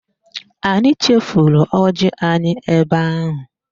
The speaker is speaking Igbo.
Anyị chefuru ọjị anyị ebe ahụ